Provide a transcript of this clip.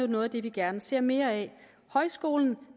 noget af det vi gerne ser mere af højskolen